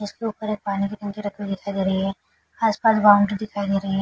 जिसके ऊपर एक पानी की टंकी रखी हुई दिखाई दे रही है। आस-पास बॉउंड्री दिखाई दे रही है।